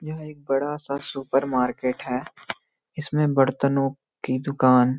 यह एक बड़ा सा सुपरमार्केट है इसमें बर्तनों की दुकान --